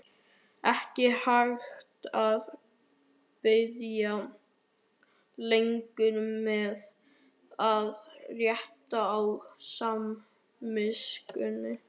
Ekki hægt að bíða lengur með að létta á samviskunni!